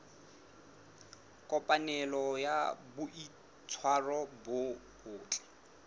kopanelo ya boitshwaro bo botle